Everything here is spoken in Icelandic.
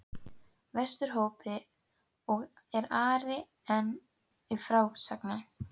Vesturhópi, og er Ari enn til frásagnar